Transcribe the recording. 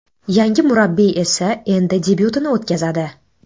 Yangi murabbiy esa endi debyutini o‘tkazadi.